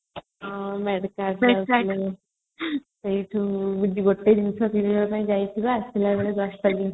ସେଇଠୁ grocssory ଜିନିଷ କିଣିବା ପାଇଁ ଯାଉଥିଲେ ଆସିଲେ ବେଳେ ବସ୍ତାଟେ ଜିନିଷ ହଉଥିଲା